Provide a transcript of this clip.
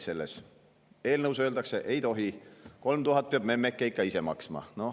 Aga eelnõus öeldakse, et ei tohi, 3000 eurot peab memmeke ikka ise maksma.